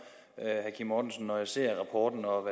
når jeg ser rapporten og